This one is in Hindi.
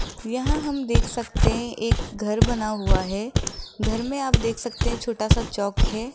यहां हम देख सकते है एक घर बना हुआ है घर मे आप देख सकते है छोटा सा चॉक है।